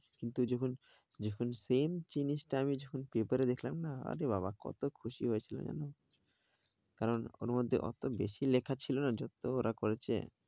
কিন্তু যখন, যখন same জিনিসটা আমি যখন paper এ দেখলাম না, আরে বাবা কত খুশি হয়েছিলাম জানো কারণ, ওর মধ্যে ওত বেশি লেখা ছিল না যত ওরা করেছে।